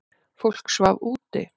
Fólk svaf úti.